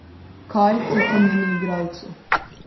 Kaj to pomeni igralcu?